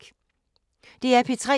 DR P3